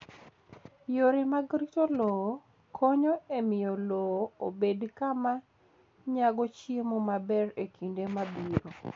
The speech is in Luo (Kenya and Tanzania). Yore mag rito lowo konyo e miyo lowo obed kama nyago chiemo maber e kinde mabiro.